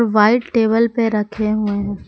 White table पे रखे हुए है।